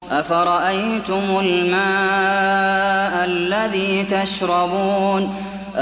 أَفَرَأَيْتُمُ الْمَاءَ الَّذِي تَشْرَبُونَ